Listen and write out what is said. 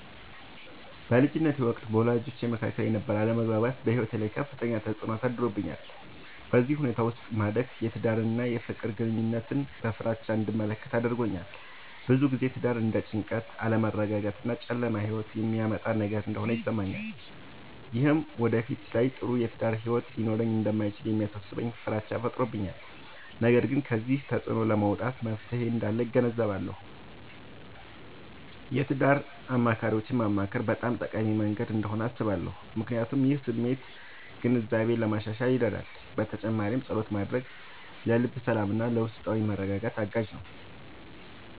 በልጅነቴ ወቅት በወላጆቼ መካከል የነበረ አለመግባባት በሕይወቴ ላይ ከፍተኛ ተፅዕኖ አሳድሮብኛል። በዚህ ሁኔታ ውስጥ ማደግ የትዳርን እና የፍቅር ግንኙነትን በፍራቻ እንድመለከት አድርጎኛል። ብዙ ጊዜ ትዳር እንደ ጭንቀት፣ አለመረጋጋት እና ጨለማ ሕይወት የሚያመጣ ነገር እንደሆነ ይሰማኛል። ይህም በወደፊት ላይ ጥሩ የትዳር ሕይወት ሊኖረኝ እንደማይችል የሚያሳስበኝ ፍራቻ ፈጥሮብኛል። ነገር ግን ከዚህ ተፅዕኖ ለመውጣት መፍትሔ እንዳለ እገነዘባለሁ። የትዳር አማካሪዎችን ማማከር በጣም ጠቃሚ መንገድ እንደሆነ አስባለሁ፣ ምክንያቱም ይህ የስሜት ግንዛቤን ለማሻሻል ይረዳል። በተጨማሪም ፀሎት ማድረግ ለልብ ሰላምና ለውስጣዊ መረጋጋት አጋዥ ነው።